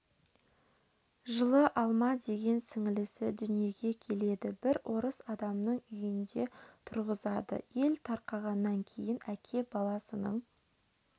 жылы алма деген сіңілісі дүниеге келеді бір орыс адамының үйіне тұрғызады ел тарқағаннан кейін әке баласының